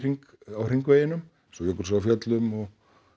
á hringveginum eins og Jökulsá á Fjöllum og